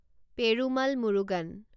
Perumal Murugan